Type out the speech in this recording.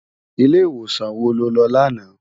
Ilé iwósan wó ló lò làná?